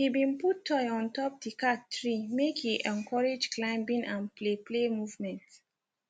he been put toy on top the cat tree make he encourage climbing and play play movement